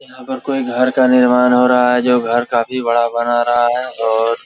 यहां पर कोई घर का निर्माण हो रहा है जो घर काफी बड़ा बना रहा है और --